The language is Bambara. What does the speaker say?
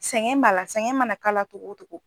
Sɛgɛn b'a la sɛgɛn mana k'a la togo togo.